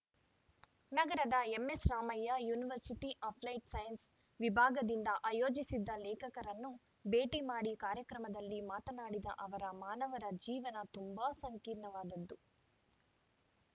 ನಗರದ ಎಂಎಸ್‌ರಾಮಯ್ಯ university applied science ವಿಭಾಗದಿಂದ ಆಯೋಜಿಸಿದ್ದ ಲೇಖಕರನ್ನು ಭೇಟಿ ಮಾಡಿ ಕಾರ್ಯಕ್ರಮದಲ್ಲಿ ಮಾತನಾಡಿದ ಅವರು ಮಾನವರ ಜೀವನ ತುಂಬಾ ಸಂಕೀರ್ಣವಾದದ್ದು